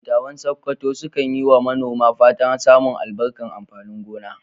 Dattawan Sakkwato sukan yi wa manoma fatan samun albarkar amfanin gona.